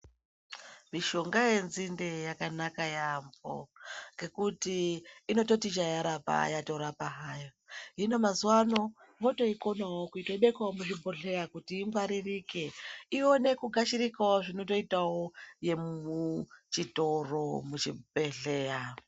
Mishonga yenzinde yakanaka yaampo ngekuti inototi chaya rapa yatorapa hayo hino mazuwa ano votoikonawo kutoibekawo muzvibhodhleya kuti ingwaririke ione kugashirikawo zvinototitawo yemuchitoro muchibhedhleya.